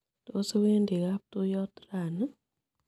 Tos iwendi kaptuyot rani?